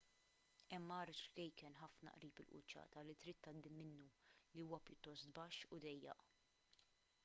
hemm għar ċkejken ħafna qrib il-quċċata li trid tgħaddi minnu li huwa pjuttost baxx u dejjaq